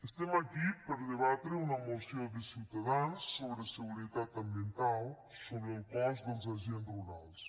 estem aquí per debatre una moció de ciutadans sobre seguretat ambiental sobre el cos dels agents rurals